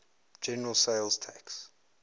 general sales tax